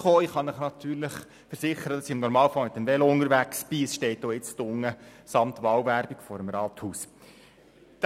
Ich kann Ihnen natürlich versichern, dass ich im Normalfall mit dem Velo unterwegs bin, das nun auch samt Wahlwerbung vor dem Rathaus steht.